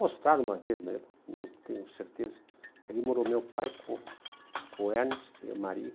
Mostraram uma vez, mas eu não tenho certeza, que ali morou meu pai com com o Ernest e a Marie.